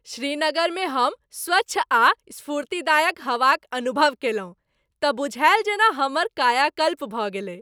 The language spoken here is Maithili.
श्रीनगर में हम स्वच्छ आ स्फूर्तिदायक हवा क अनुभव केलहुँ त बुझाएल जेना हमर कायाकल्प भ गेलै।